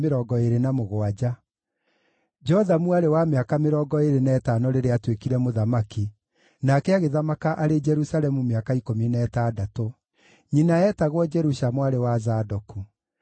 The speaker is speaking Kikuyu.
Jothamu aarĩ wa mĩaka mĩrongo ĩĩrĩ na ĩtano rĩrĩa aatuĩkire mũthamaki, nake agĩthamaka arĩ Jerusalemu mĩaka ikũmi na ĩtandatũ. Nyina eetagwo Jerusha mwarĩ wa Zadoku.